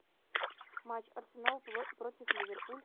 матч арсенал против ливерпуль